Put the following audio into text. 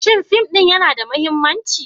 Shin fim ɗin yana da mahimmanci?